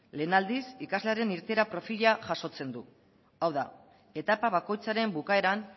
lehen aldiz ikaslearen irteera perfila jasotzen du hau da etapa bakoitzaren bukaeran